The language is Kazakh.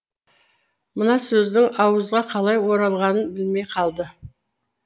мына сөздің ауызға қалай оралғанын білмей қалды